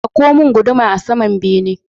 Ɗauko mun guduma a saman bene